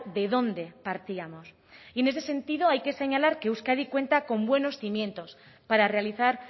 de dónde partíamos y en ese sentido hay que señalar que euskadi cuenta con buenos cimientos para realizar